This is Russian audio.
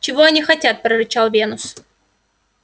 чего они хотят прорычал венус